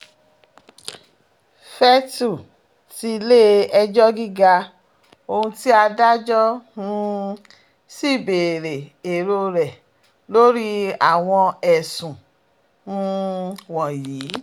fètlè tilé-ẹjọ́ gíga ohun tí adájọ́ um sì béèrè èrò rẹ̀ lórí àwọn ẹ̀sùn um wọ̀nyí